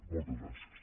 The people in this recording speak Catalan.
moltes gràcies